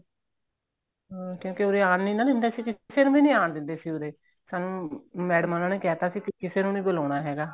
ਹਾਂ ਕਿਉਂਕਿ ਉਰੇ ਆਉਣ ਨਹੀਂ ਦਿੰਦੇ ਸੀਗੇ ਕਿਸੇ ਨੂੰ ਆਂਣ ਦਿੰਦੇ ਸੀਗੇ ਉਰੇ ਸਾਨੂੰ ਮੈਡਮ ਹੋਣੀ ਨੇ ਕਹਿ ਤਾਂ ਸੀ ਕਿਸੇ ਨੂੰ ਨਹੀਂ ਬੁਲਾਣਾ ਹੈਗਾ